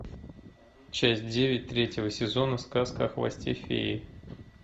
часть девять третьего сезона сказка о хвосте феи